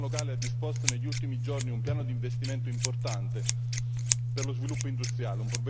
Il governo locale ha disposto negli ultimi giorni un piano d'investimento importante per lo sviluppo industriale.